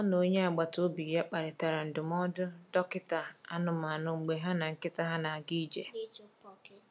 Ọ na onye agbata obi ya kparịtara ndụmọdụ dọkịta anụmanụ mgbe ha na nkịta ha na-aga ije.